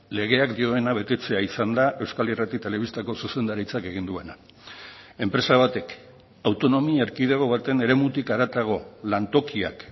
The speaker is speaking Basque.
legeak dioena betetzea izan da euskal irrati telebistako zuzendaritzak egin duena enpresa batek autonomia erkidego baten eremutik haratago lantokiak